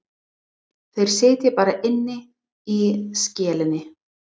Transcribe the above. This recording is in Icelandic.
Þeir sitja bara inni í skelinni.